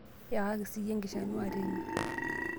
Iyakaki siiye enkishanua teine